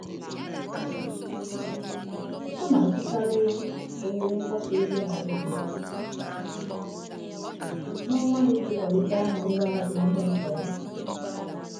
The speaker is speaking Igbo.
Ọ na-azụkarị ohere mgbasa ozi na redio n'onwa ya iji kwalite aha ngwá azụmahịa nta ya.